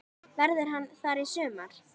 Verður hann þar í sumar?